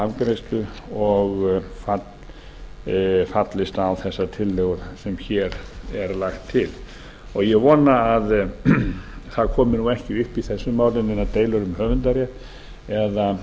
afgreiðslu og fallist á þessa tillögu sem hér er lagt til ég vona að það komi ekki upp í þessu máli neinar deilur um höfundarrétt eða